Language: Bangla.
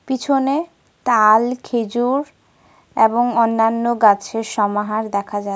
পিছনে তাল খেজুর এবং অন্যান্য গাছের সমাহার দেখা যা--